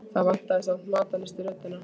Það vantaði samt matarlyst í röddina.